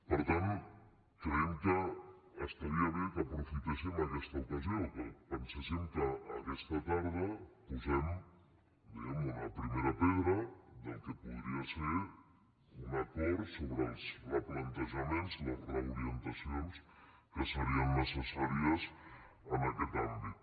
per tant creiem que estaria bé que aprofitéssim aquesta ocasió que penséssim que aquesta tarda posem diguem ne una primera pedra del que podria ser un acord sobre els replantejaments les reorientacions que serien necessàries en aquest àmbit